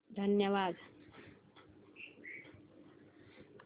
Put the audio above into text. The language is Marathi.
धन्यवाद